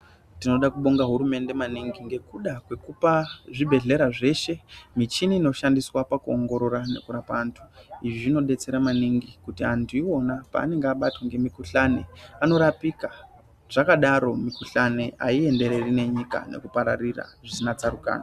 Tinoda kuabonga hurumende maningi ngekupe zvibhedhlera zveshe michini inoshandiswa pakuongorora nekurapa antu. Izvi zvinodetsera maningi kuti antu iwona paanenge abatwe ngemukhuhlani anorapika ,zvakadaro mikhuhlani aiendereri nenyika zvisina tsarukano.